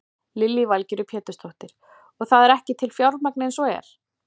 Lillý Valgerður Pétursdóttir: Og það er ekki til fjármagn eins og er?